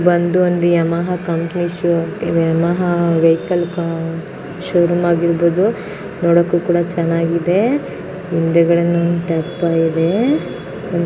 ಬಂದು ಒಂದು Yamaha company show Yamaha vehicle showroom .